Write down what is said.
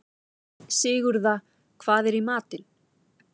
Sigurða, hvað er í matinn?